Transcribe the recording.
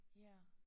Ja